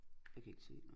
Jeg kan ikke se noget